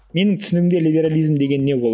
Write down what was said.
менің түсінігімде либерализм деген не ол